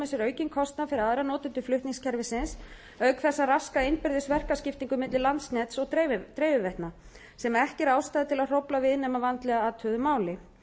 aukinn kostnað fyrir aðra notendur flutningskerfisins auk þess að raska innbyrðis verkaskiptingu milli landsnetsins og dreifiveitna sem ekki er ástæða til að hrófla við nema að vandlega athuguðu máli